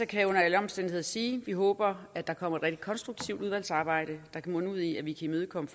kan jeg under alle omstændigheder sige at vi håber at der kommer et rigtig konstruktivt udvalgsarbejde der kan munde ud i at vi kan imødekomme